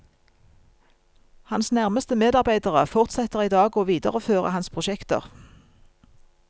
Hans nærmeste medarbeidere fortsetter i dag å videreføre hans prosjekter.